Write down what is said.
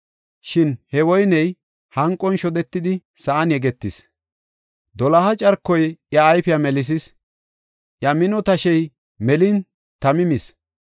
Shin he woyney hanqon shodetidi sa7an yegetis; doloha carkoy iya ayfiya melisis; iya mino tashey melin tami mis.